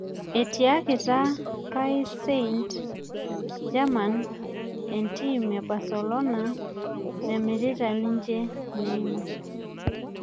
Etiakita pais saint german entim e barcelona memirita ninje neima